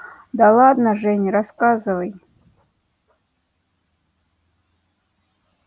да ладно жень рассказывай